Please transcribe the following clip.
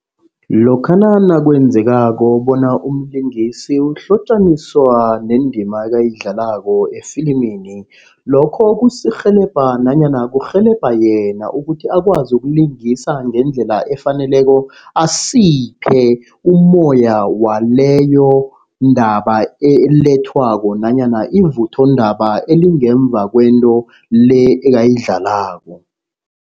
Lokha nakwenzekako bona umlingisi uhlotjaniswa nendima eyidlalako efilimini. Lokho kusirhelebha nanyana kurhelebha yena ukuthi akwazi ukulingisa ngendlela efaneleko. Asiphe umoya waleyondaba elethwako nanyana ivutho indaba elingemva kwento le ekayidlalako.